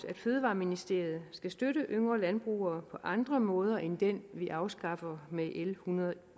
at fødevareministeriet skal støtte yngre landbrugere på andre måder end den vi afskaffer med l en hundrede og